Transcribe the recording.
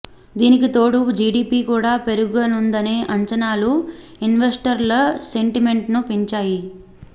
దీనికి తోడు జీడీపీ కూడా పెరగనుందనే అంచనాలు ఇన్వెస్టర్ల సెంటి మెంట్ ను పెంచాయి